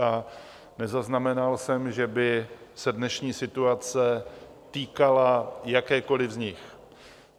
A nezaznamenal jsem, že by se dnešní situace týkala jakékoli z nich.